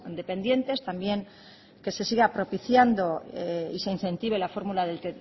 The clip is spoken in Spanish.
dependientes también que se siga propiciando y se incentive la fórmula del